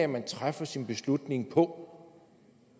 man træffer sin beslutning på